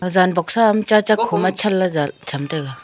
jan boxsa am chacha khoma chan la cham taiga.